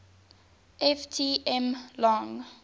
ft m long